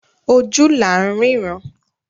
Ojú la rínran.